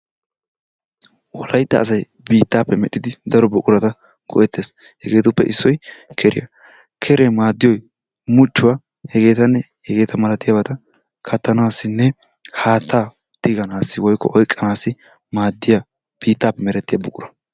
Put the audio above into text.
wolaytta asay bittaappe medhidi daro buqurata go"ettees. hegeetuppe issoy keeriyaa. keeree maaddiyoy muchchuwaa hegeetanne hegeeta maalatiyaabata kaattanasinne haattaa tiganassi woykko oyqanaassi maaddiyaa biittaape merettiyaa buqura.